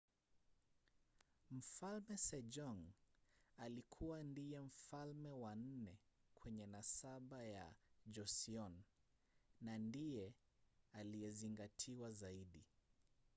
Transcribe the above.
mfalme sejong alikua ndiye mfalme wa nne kwenye nasaba ya joseon na ndiye aliyezingatiwa zaidi